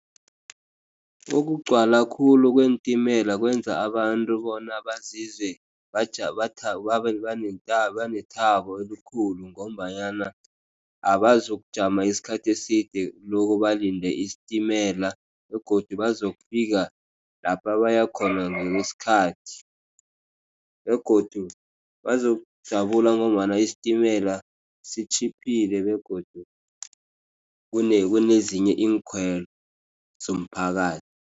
Ukugcwala khulu kweentimela kwenza abantu bona bazizwe banethabo elikhulu, ngombanyana abazokujama isikhathi eside loko balinde isitimela. Begodu bazokufika lapha bayakhona ngesikhathi. Begodu bazokujabula ngombana isitimela sitjhiphile, begodu kunezinye iinkhwelo zomphakathi.